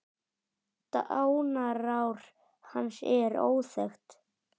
Dánarár hans er óþekkt.